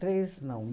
Três... Não.